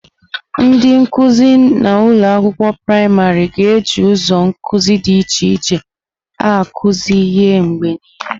Ndị nkuzi na ụlọ akwụkwọ praịmarị ga-eji ụzọ nkuzi dị iche iche akuzu ihe mgbe niile.